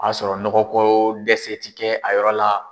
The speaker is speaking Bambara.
O y'a sɔrɔ nɔgɔ ko dɛsɛ ti kɛ a yɔrɔ la